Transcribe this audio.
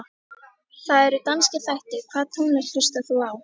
Það eru danskir þættir Hvaða tónlist hlustar þú á?